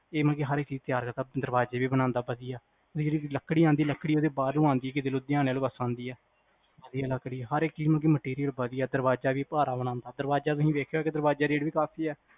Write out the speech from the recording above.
ਇਹ ਮਤਲਬ ਕ ਹਰ ਇਕ ਚੀਜ਼ ਤਿਆਰ ਕਰਦਾ ਦਰਵਾਜ਼ੇ ਵੀ ਬਣਾਂਦਾ ਵਧਿਆ ਲੱਕੜੀ ਆਂਦੀ ਲੱਕੜੀ ਬਾਹਰੋਂ ਆਂਦੀ ਕਿਤੇ ਲੁਧਿਆਣਾ ਪਾਸਿਓਂ ਆਂਦੀ ਵਧਿਆ ਲੱਕੜੀ ਹਰ ਇਕ ਚੀਜ਼ ਵਧਿਆ ਦਰਵਾਜ਼ਾ ਵੀ ਭਾਰਾ ਬਣਾਂਦਾ ਦਰਵਾਜਾ ਤੁਸੀ ਵੇਖਿਆ ਹੋਏਗਾ ਦਰਵਾਜ਼ੇ ਦਾ ਰੇਟ ਵੀ ਕਾਫੀ ਆ